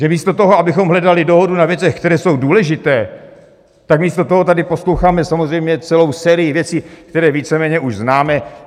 Že místo toho, abychom hledali dohodu na věcech, které jsou důležité, tak místo toho tady posloucháme samozřejmě celou sérii věcí, které víceméně už známe.